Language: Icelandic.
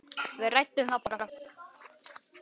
Við ræddum það bara.